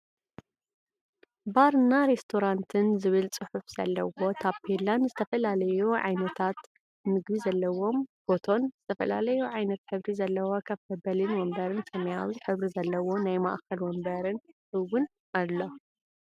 ባርና ሬስቶራትን ዝብል ፅሑፍ ዘለዎ ታፔላን ዝተፈላለዪ ዓይነት ምግቢ ዘለዎም ፎቶን ዝተፈላለዩ ዓይነት ሕብሪ ዘለዎም ከፍ መበሊ ወንበርን ሰማያዊ ሕብሪ ዘለዎ ናይ ማእከል ወንበር እውን ኣሎ።